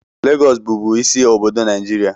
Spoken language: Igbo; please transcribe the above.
Lagos bubu ịsị obodo Naijiria